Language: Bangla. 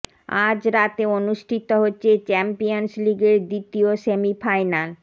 আজ রাত অনুষ্ঠিত হচ্ছে চ্যাম্পিয়ন্স লিগের দ্বিতীয় সেমি ফাইনাল